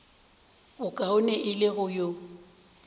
bokaone e le go yo